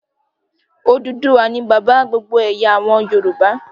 Odùduwà ni bàbá gbogbo àwọn ẹ̀yà Yorùbá.